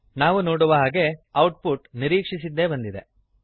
ನಾವು ನೋಡುವ ಹಾಗೆ ಔಟ್ ಪುಟ್ ನಿರೀಕ್ಷಿಸಿದ್ದೇ ಬಂದಿದೆ